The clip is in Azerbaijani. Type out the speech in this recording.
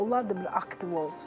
Onlar da bir aktiv olsun.